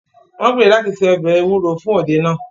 Wọ́n gbèrò láti se ọbẹ̀ ewúro fún òde náà